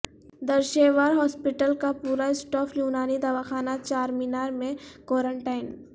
Durr-e-Shahwar hospital کاپورا staff Unani Dawakhana Charminar میں quarantine